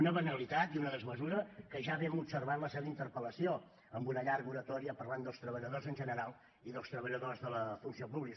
una banalitat i una desmesura que ja vam observar en la seva interpel·lació amb una llarga oratòria parlant dels treballadors en general i dels treballadors de la funció pública